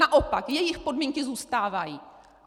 Naopak jejich podmínky zůstávají!